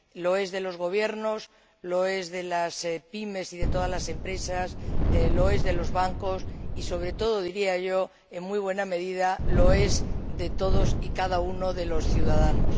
Lo es de los gobiernos, lo es de las PYME y de todas las empresas, lo es de los bancos y, sobre todo, diría yo, en muy buena medida, lo es de todos y cada uno de los ciudadanos.